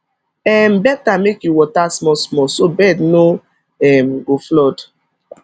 um better make you water smallsmall so bed no um go flood